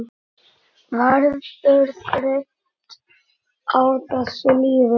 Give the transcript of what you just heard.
Verður þreytt á þessu lífi.